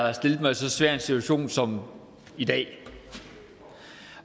har stillet mig i så svær en situation som i dag